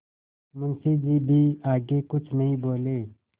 मुंशी जी भी आगे कुछ नहीं बोले